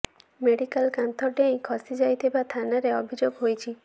medical କାନ୍ଥ ଡେଇଁ ଖସି ଯାଇଥିବା ଥାନାରେ ଅଭିଯୋଗ ହୋଇଛି